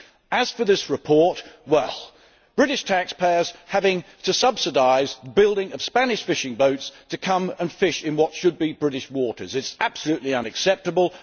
As for this report, British taxpayers have to subsidise the building of Spanish fishing boats to come and fish in what should be British waters. It is absolutely unacceptable!